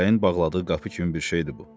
Fələyin bağladığı qapı kimi bir şeydir bu.